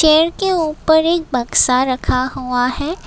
पेड़ के ऊपर एक बक्सा रखा हुआ है।